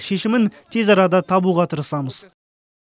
шешімін тез арада табуға тырысамыз